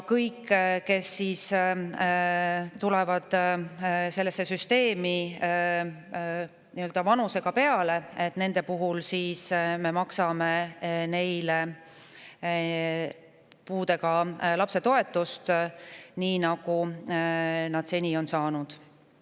Kõigile, kes tulevad sellesse süsteemi vanusega peale, me maksame puudega lapse toetust nii, nagu nad seda seni on saanud.